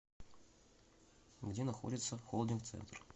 где находится холдинг центр